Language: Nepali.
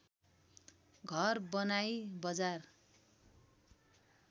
घर बनाई बजार